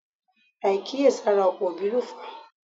Àìkíyèsára ọ̀pọ̀ òbí ló fà á